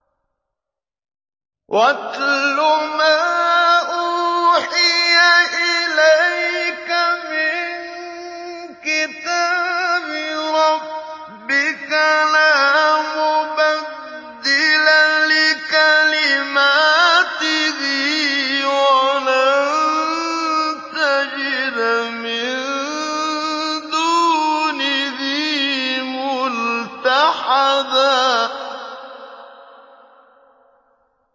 وَاتْلُ مَا أُوحِيَ إِلَيْكَ مِن كِتَابِ رَبِّكَ ۖ لَا مُبَدِّلَ لِكَلِمَاتِهِ وَلَن تَجِدَ مِن دُونِهِ مُلْتَحَدًا